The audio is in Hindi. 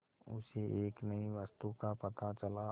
उसे एक नई वस्तु का पता चला